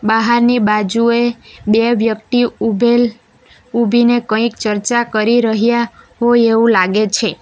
બાહારની બાજુએ બે વ્યક્તિ ઉભેલ ઊભીને કંઈક ચર્ચા કરી રહ્યા હોય એવું લાગે છે.